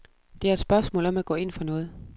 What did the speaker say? Det er et spørgsmål om at gå ind for noget.